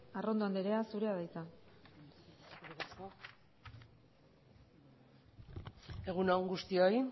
arrondo anderea zurea da hitza egun on guztioi